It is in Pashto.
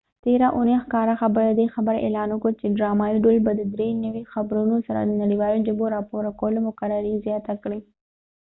تیره اوونی ښکاره خبر ددې خبری اعلان وکړ چې ډرامایې ډول به د درې نوي خپرونو سره د نړیوالو ژبو راپور ورکولو مقرری زیاته کړي